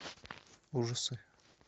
ужасы